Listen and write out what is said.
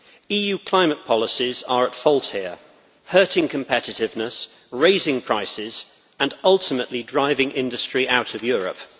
EU climate policies are at fault here, hurting competitiveness, raising prices and ultimately driving industry out of Europe.